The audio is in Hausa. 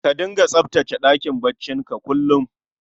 Ka dinga tsaftace ɗakin bacci ka kullum